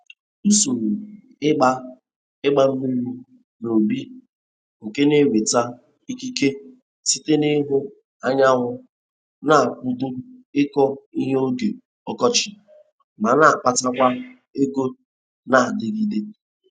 Usoro ịgba ịgba mmiri n'ubi nke na-enweta ikike site n'ihu anyanwụ na-akwado ịkọ ihe oge ọkọchị ma na-akpatakwa ego na-adịgide.